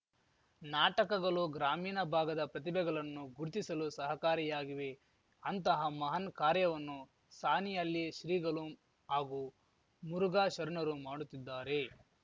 ನಾಟಕಗಲು ಗ್ರಾಮೀಣ ಭಾಗದ ಪ್ರತಿಭೆಗಲನ್ನು ಗುರುತಿಸಲು ಸಹಕಾರಿಯಾಗಿವೆ ಅಂತಹ ಮಹಾನ್‌ ಕಾರ್ಯವನ್ನು ಸಾಣಿಹಲ್ಲಿ ಶ್ರೀಗಲು ಹಾಗೂ ಮುರುಘಾ ಶರಣರು ಮಾಡುತ್ತಿದ್ದಾರೆ